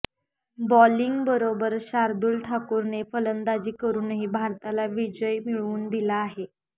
बॉलिंगबरोबर शार्दुल ठाकूरने फलंदाजी करूनही भारताला विजय मिळवून दिला आहे